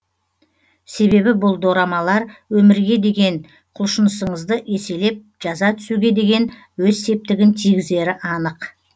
себебі бұл дорамалар өмірге деген құлшынысыңызды еселеп жаза түсуге деген өз септігін тигізері анық